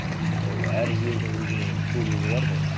ол әр жердің өзінің сұлулығы бар ғой